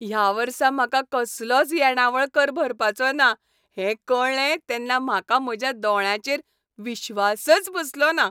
ह्या वर्सा म्हाका कसलोच येणावळ कर भरपाचो ना हें कळ्ळें तेन्ना म्हाका म्हज्या दोळ्यांचेर विश्वासच बसलोना!